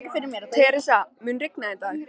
Theresa, mun rigna í dag?